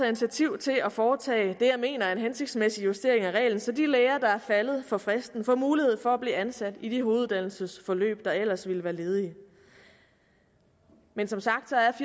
initiativ til at foretage det jeg mener er en hensigtsmæssig justering af reglen så de læger der er faldet for fristen får mulighed for at blive ansat i de hoveduddannelsesforløb der ellers ville være ledige men som sagt